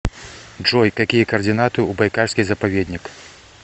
джой какие координаты у байкальский заповедник